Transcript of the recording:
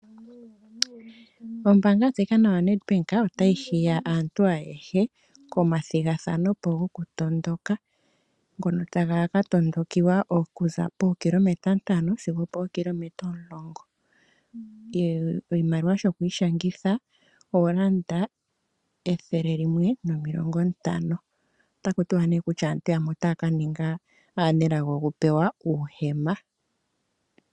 Ombaanga ndika yo Nadbank ota yi hiya aantu ayehe, komathigathano gokutondoka, ta ga ka yondokiwa okuza pookilometa ntano sigo opoo kilometa omulongo. Oshimaliwa shokwiishangitha, ethele nomilongo ntano. Ota ku tiwa ne kutya aantu yamwe ota ua ka ninga aanelago oku pewa uuhema.